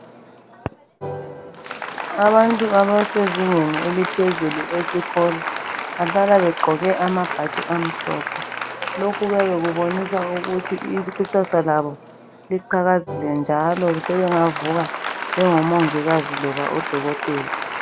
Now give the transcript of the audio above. Abantu abasezingeni eliphezulu esikolo bahlala begqoke amabhatshi amhlophe lokhu kuyabe kubonisa ukuthi ikusasa kabo liqhakazile njalo sebengavuka bengo Mongikazi kumbe oDokotela .